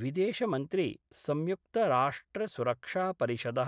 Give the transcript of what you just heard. विदेशमन्त्री संयुक्तराष्ट्रसुरक्षापरिषद: